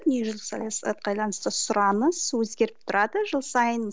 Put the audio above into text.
дүниежүзілік саясатқа байланысты сұраныс өзгеріп тұрады жыл сайын